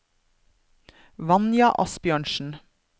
Vanja Asbjørnsen